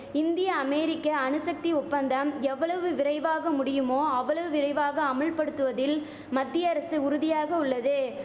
இந்திய அமேரிக்க அணுசக்தி ஒப்பந்தம் எவ்வளவு விரைவாக முடியுமோ அவ்வளவு விரைவாக அமுல்படுத்துவதில் மத்திய அரசு உறுதியாக உள்ளது